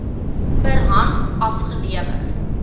per hand afgelewer